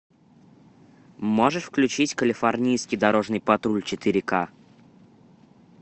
можешь включить калифорнийский дорожный патруль четыре ка